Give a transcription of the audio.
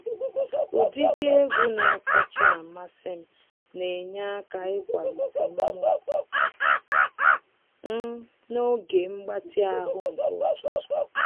Ụdịdị egwu na-akacha amasị m na enye aka ịkwalite mmụọ m n'oge mgbatị ahụ nke ụtụtụ.